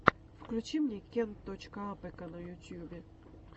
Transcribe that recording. включи мне кент точка апэка на ютьюбе